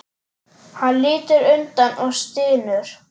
Hann lítur undan og stynur.